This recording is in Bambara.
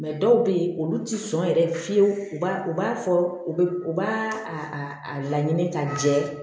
dɔw bɛ yen olu tɛ sɔn yɛrɛ fiyewu u b'a fɔ u bɛ u b'a a a laɲini ka jɛ